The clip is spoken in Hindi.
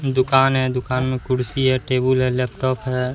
दुकान है दुकान में कुर्सी है टेबुल हैं लैपटॉप हैं।